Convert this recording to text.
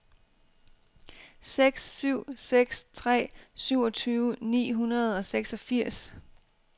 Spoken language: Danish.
seks syv seks tre syvogtyve ni hundrede og seksogfirs